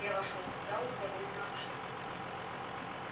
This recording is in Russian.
я вошёл в залу довольно обширную